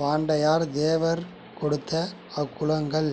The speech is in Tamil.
வாண்டாயத் தேவர் கொடுத்த அக்குளங்கள்